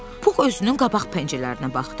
Pux özünün qabaq pəncərələrinə baxdı.